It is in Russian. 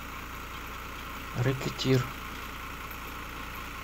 рэкетир